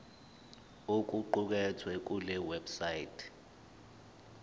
okuqukethwe kule website